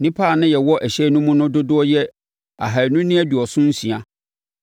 Nnipa a na yɛwɔ ɛhyɛn no mu no dodoɔ yɛ ahanu ne aduɔson nsia.